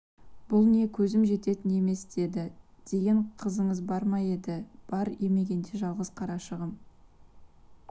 бұл не көзім жететін емес деді деген қызыңыз бар ма ед бар емегенде жалғыз қарашығым